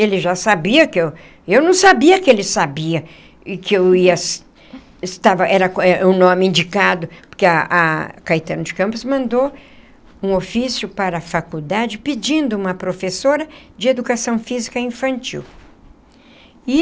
Ele já sabia que eu... Eu não sabia que ele sabia que eu ia estava... Era o nome indicado, porque a a Caetano de Campos mandou um ofício para a faculdade pedindo uma professora de educação física infantil e.